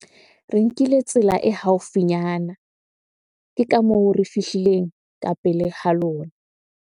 Re nkile tsela e haufinyana. Ke ka moo re fihlileng ka pele halona.